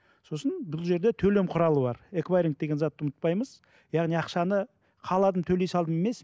сосын бұл жерде төлем құралы бар экваринг деген затты ұмытпаймыз яғни ақшаны қаладым төлей салдым емес